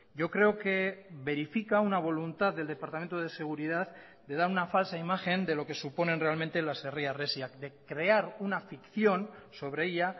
yo creo que verifica una voluntad del departamento de seguridad de dar una falsa imagen de lo que suponen realmente las herri harresiak de crear una ficción sobre ella